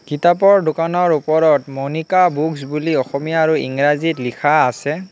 কিতাপৰ দোকানৰ উপৰত মনিকা বুক্স বুলি অসমীয়া আৰু ইংৰাজীত লিখা আছে।